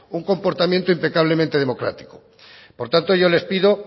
un comportamiento impecablemente democrático por tanto yo les pido